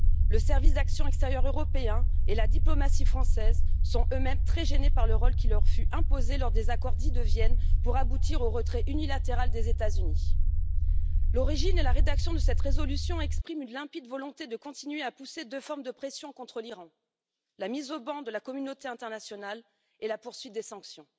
Le Service pour l'action extérieure européen et la diplomatie française sont eux mêmes très gênés par le rôle qui leur a été imposé lors des accords dits de Vienne pour aboutir au retrait unilatéral des États Unis. L'origine et la rédaction de cette résolution expriment une limpide volonté de continuer à exercer deux formes de pression contre l'Iran la mise au ban de la communauté internationale et la poursuite des sanctions.